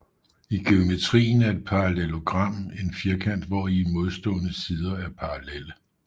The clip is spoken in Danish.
I geometrien er et parallelogram en firkant hvori modstående sider er parallelle